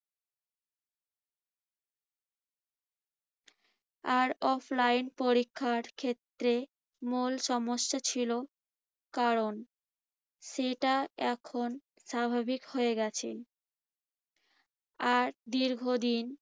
আর offline পরীক্ষার ক্ষেত্রে মূল সমস্যা ছিল কারণ সেটা এখন স্বাভাবিক হয়ে গেছে। আর দীর্ঘদিন